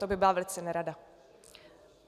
To bych byla velice nerada.